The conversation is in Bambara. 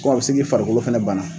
Ubiyɛn a bi se k'i farikolo fɛnɛ banna